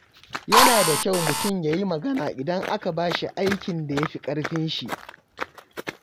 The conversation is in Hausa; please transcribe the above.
Yana da kyau mutum ya yi magana idan aka bashi aikin da ya fi ƙarfin shi.